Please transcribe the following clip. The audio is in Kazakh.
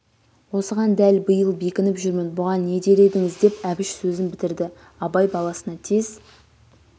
осыған дәл биыл бекініп жүрмін бұған не дер едіңіз деп әбіш сөзін бітірді абай баласына тез